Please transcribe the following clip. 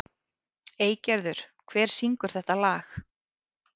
Eygerður, hver syngur þetta lag?